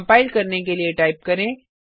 compile करने के लिए टाइप करें